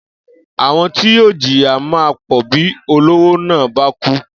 Àwo̩n ti yóò jìyà máa pò̩ bí olówó náà bá kú